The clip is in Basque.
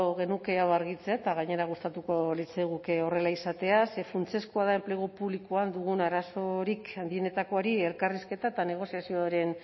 genuke hau argitzea eta gainera gustatuko litzaiguke horrela izatea ze funtsezkoa da enplegu publikoan dugun arazorik handienetakoari elkarrizketa eta negoziazioaren